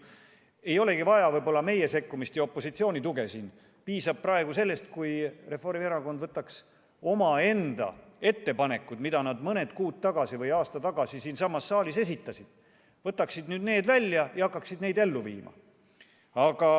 Võib-olla ei olegi siin vaja opositsiooni sekkumist ja tuge, praegu piisaks sellestki, kui Reformierakond võtaks välja omaenda ettepanekud, mis nad mõned kuud või aasta tagasi siinsamas saalis esitasid, ja hakkaks neid ellu viima.